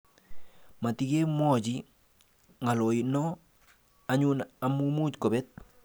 Matikemwochi ng'aloyno anyun amu much kobet.